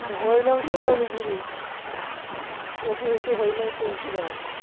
গুরু অগ্নি পরীক্ষা হয়ে যাবে সেই